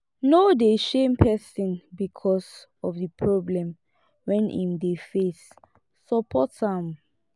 no dey shame person because of di problem wey im dey face support am